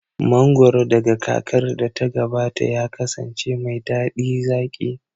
Mangoro daga kakar da ta gabata ya kasance mai daɗi zaƙi